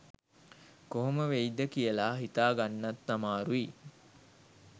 කොහොම වෙයිද කියල හිතාගන්නත් අමාරුයි.